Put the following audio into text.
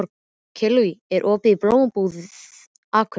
Kellý, er opið í Blómabúð Akureyrar?